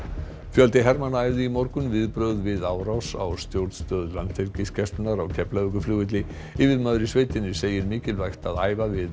fjöldi hermanna æfði í morgun viðbrögð við árás á stjórnstöð Landhelgisgæslunnar á Keflavíkurflugvelli yfirmaður í sveitinni segir mikilvægt að æfa við